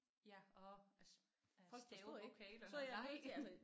Ja at at stave vokalerne nej